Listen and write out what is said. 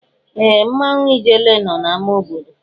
Ee! Mmanwụ ijele nọ n'amá obodo.